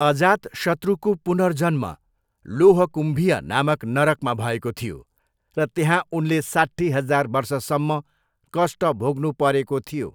अजातशत्रुको पुनर्जन्म 'लोहकुम्भिय' नामक नरकमा भएको थियो र त्यहाँ उनले साट्ठी हजार वर्षसम्म कष्ट भोग्नुपरेको थियो।